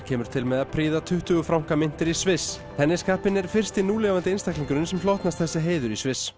kemur til með að prýða tuttugu franka myntir í Sviss federer er fyrsti núlifandi einstaklingurinn sem hlotnast þessi heiður í Sviss